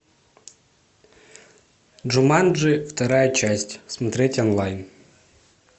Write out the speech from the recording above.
джуманджи вторая часть смотреть онлайн